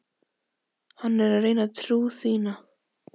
Hann er að reyna trú þína.